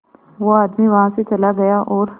वो आदमी वहां से चला गया और